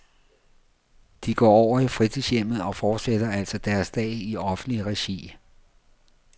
De går over i fritidshjemmet og fortsætter altså deres dag i offentligt regi.